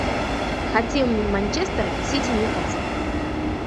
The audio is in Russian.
хотим манчестер сити ньюкасл